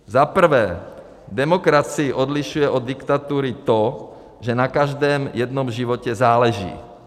Za prvé, demokracii odlišuje od diktatury to, že na každém jednom životě záleží.